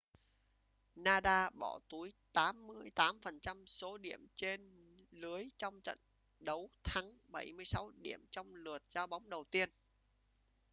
nadal bỏ túi 88% số điểm lên lưới trong trận đấu thắng 76 điểm trong lượt giao bóng đầu tiên